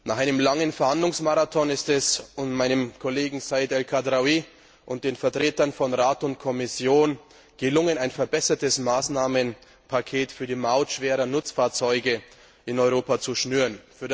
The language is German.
Nach einem langen Verhandlungsmarathon ist es meinem Kollegen Said El Khadraoui und den Vertretern von Rat und Kommission gelungen, ein verbessertes Maßnahmenpaket für die Maut schwerer Nutzfahrzeuge in Europa zu schnüren.